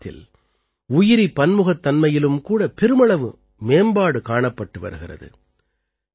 இந்த இயக்கத்தில் உயிரி பன்முகத்தன்மையிலும் கூட பெருமளவு மேம்பாடு காணப்பட்டு வருகிறது